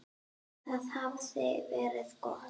Það hafði verið gott.